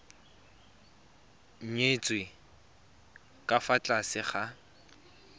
nyetswe ka fa tlase ga